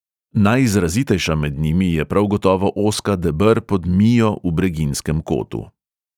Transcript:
Najizrazitejša med njimi je prav gotovo ozka deber pod mijo v breginjskem kotu.